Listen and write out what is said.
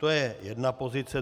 To je jedna pozice.